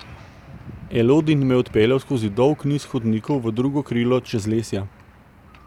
Elodin me je odpeljal skozi dolg niz hodnikov v drugo krilo Čezlesja.